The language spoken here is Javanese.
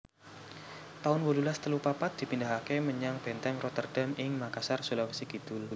taun wolulas telu papat dipindahaké menyang Bèntèng Rotterdam ing Makassar Sulawesi Kidul